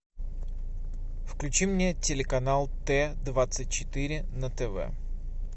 включи мне телеканал т двадцать четыре на тв